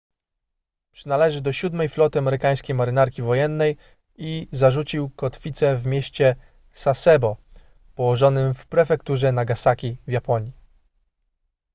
przynależy do siódmej floty amerykańskiej marynarki wojennej i zarzucił kotwicę w mieście sasebo położonym w prefekturze nagasaki w japonii